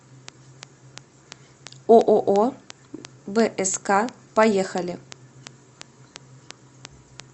ооо бск поехали